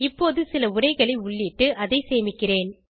இப்போது சில உரைகளை உள்ளிட்டு அதை சேமிக்கிறேன்